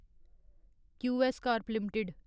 QS corp limited